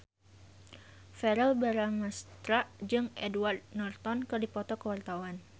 Verrell Bramastra jeung Edward Norton keur dipoto ku wartawan